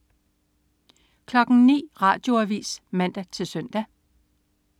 09.00 Radioavis (man-søn)